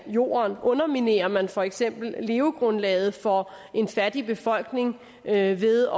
jorden underminerer man for eksempel levegrundlaget for en fattig befolkning ved ved